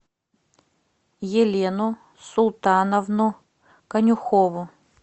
елену султановну конюхову